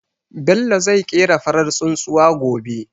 Bello zai ƙera farar tsuntsuwa gobe.